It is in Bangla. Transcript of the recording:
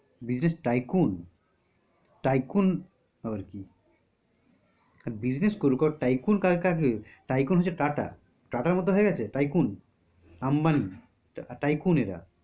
business tycoon? tycoon আবার কি? business করুক tycoon টাকে? tycoon হচ্ছে টাটা। টাটার মত হয়ে গেছে? tycoon আম্বানি tycoon এরা